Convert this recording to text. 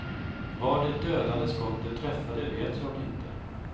Var det dödande skottet träffade vet jag inte.